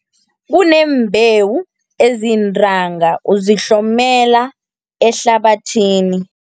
Kuneembewu eziyintanga, uzihlomela ehlabathini.